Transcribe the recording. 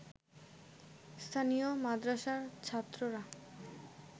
স্থানীয় মাদ্রাসার ছাত্ররা